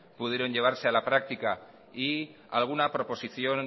pudieron llevarse a la práctica y alguna proposición